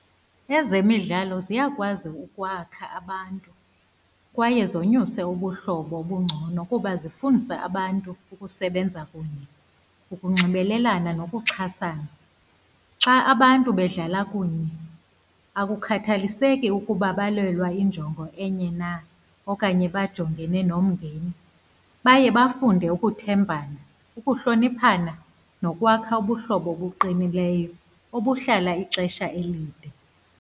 Ezemidlalo ziyakwazi ukwakha abantu, kwaye zonyuse ubuhlobo obungcono kuba zifundisa abantu ukusebenza kunye, ukunxibelelana nokuxhasana. Xa abantu bedlala kunye, akukhathaliseki ukuba balwela injongo enye na, okanye bajongene nomngeni, baye bafunde ukuthembana, ukuhloniphana nokwakha ubuhlobo obuqinileyo, obuhlala ixesha elide.